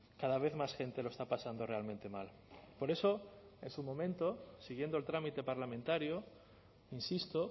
cada vez más gente lo está pasando realmente mal por eso es un momento siguiendo el trámite parlamentario insisto